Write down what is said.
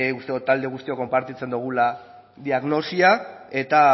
uste dut talde guztiok konpartitzen dugula diagnosia eta